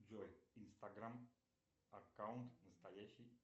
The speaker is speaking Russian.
джой инстаграм аккаунт настоящий